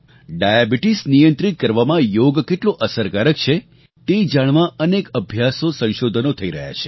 diabetes નિયંત્રિત કરવામાં યોગ કેટલો અસરકારક છે તે જાણવા અનેક અભ્યાસોસંશોધનો થઈ રહ્યાં છે